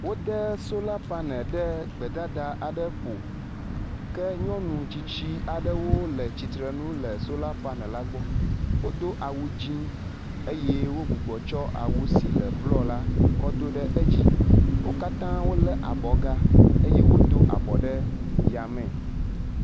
Wode sola panel ɖe gbedada aɖe ƒo ke nyɔnu tsitsi aɖewo le tsitrenu le sola panel la gbɔ. Wodo awu dzi eye wo gbugbɔ tsɔ awu si le blɔ la kɔ do ɖe edzi. Wo katã wole abɔ ga eye wodo a bɔ ɖe yame.